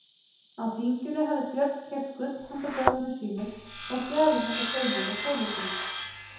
Á þinginu hafði Björn keypt gull handa börnum sínum og gjafir handa Steinunni konu sinni.